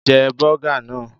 Jẹ́ bọ́gà náà!